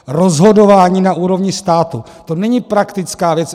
Rozhodování na úrovni státu, to není praktická věc.